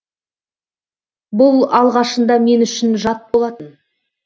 бұл алғашында мен үшін жат болатын